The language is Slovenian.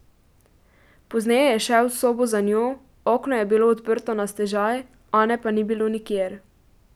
Pozneje je šel v sobo za njo, okno je bilo odprto na stežaj, Ane pa ni bilo nikjer.